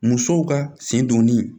Musow ka sen donni